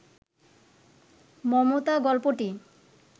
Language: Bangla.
মমতা গল্পটি